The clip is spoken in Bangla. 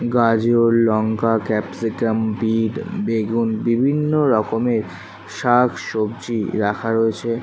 গাজরলঙ্কা ক্যাপসিকাম বিট বেগুন বিভিন্ন রকমের শাকসবজি রাখা রয়েছে ।